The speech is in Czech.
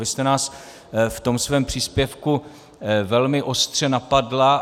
Vy jste nás v tom svém příspěvku velmi ostře napadla.